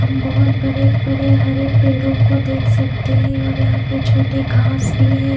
हम बहोत बड़े बड़े हरे पेड़ो को देख सकते है और यहा पे घास भी है।